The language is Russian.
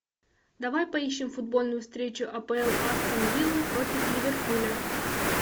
давай поищем футбольную встречу апл астон виллы против ливерпуля